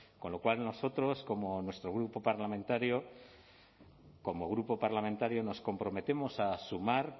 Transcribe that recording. con lo cual nosotros como nuestro grupo parlamentario como grupo parlamentario nos comprometemos a sumar